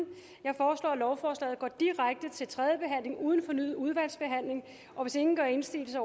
jeg foreslår at lovforslaget går direkte til tredje behandling uden fornyet udvalgsbehandling hvis ingen gør indsigelse